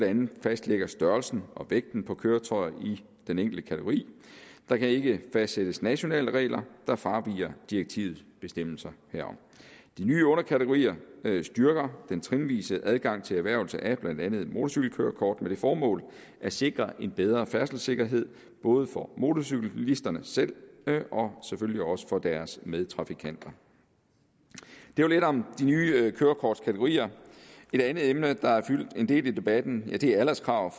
andet fastlægger størrelsen og vægten af køretøjet i den enkelte kategori der kan ikke fastsættes nationale regler der fraviger direktivets bestemmelser herom de nye underkategorier styrker den trinvise adgang til erhvervelse af blandt andet motorcykelkørekort med det formål at sikre en bedre færdselssikkerhed både for motorcyklisterne selv og selvfølgelig også for deres medtrafikanter det var lidt om de nye kørekortkategorier et andet emne der har fyldt en del i debatten er alderskravene